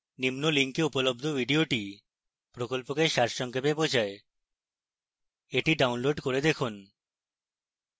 নিম্ন link উপলব্ধ video প্রকল্পকে সারসংক্ষেপ বোঝায় the download করে দেখুন